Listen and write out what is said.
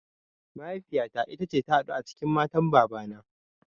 Mahaifiya ta ita ce ta huɗu a cikin matan baba na